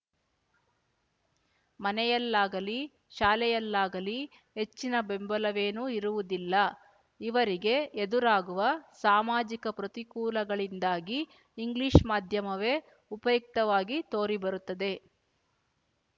ಮನೆಯಲ್ಲಾಗಲಿ ಶಾಲೆಯಲ್ಲಾಗಲೀ ಹೆಚ್ಚಿನ ಬೆಂಬಲವೇನೂ ಇರುವುದಿಲ್ಲ ಇವರಿಗೆ ಎದುರಾಗುವ ಸಾಮಾಜಿಕ ಪ್ರತಿಕೂಲಗಳಿಂದಾಗಿ ಇಂಗ್ಲಿಷ್ ಮಾಧ್ಯಮವೇ ಉಪಯುಕ್ತವಾಗಿ ತೋರಿ ಬರುತ್ತದೆ